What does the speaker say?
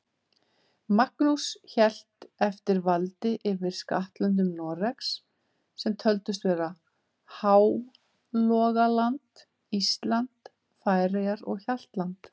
Magnús hélt eftir valdi yfir skattlöndum Noregs, sem töldust vera Hálogaland, Ísland, Færeyjar og Hjaltland.